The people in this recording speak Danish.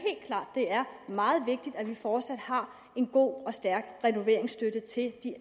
det er meget vigtigt at vi fortsat har en god og stærk renoveringsstøtte til